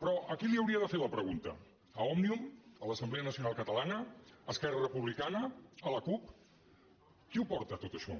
però a qui li hauria de fer la pregunta a òmnium a l’assemblea nacional catalana a esquerra republicana a la cup qui ho porta tot això